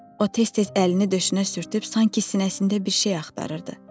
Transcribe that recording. O tez-tez əlini döşünə sürtüb sanki sinəsində bir şey axtarırdı.